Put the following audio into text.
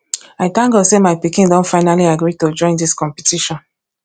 i thank god say my pikin don finally agree to join dis competition